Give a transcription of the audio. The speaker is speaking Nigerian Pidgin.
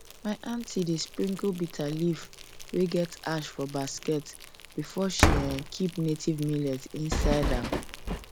my aunty dey sprinkle bitterleaf wey get ash for basket before um she keep native millet seed inside am um